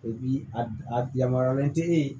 a yamaruyalen te ye